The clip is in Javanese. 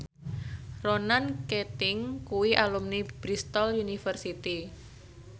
Ronan Keating kuwi alumni Bristol university